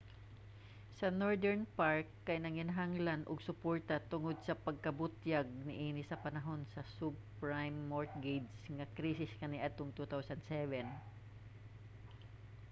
ang northern rock kay nanginhanglan og suporta tungod sa pagkabutyag niini sa panahon sa subprime mortgage nga krisis kaniadtong 2007